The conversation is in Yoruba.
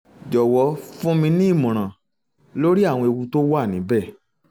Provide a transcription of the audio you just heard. jọ̀wọ́ fún mi ní ìmọ̀ràn lórí àwọn ewu tó wà níbẹ̀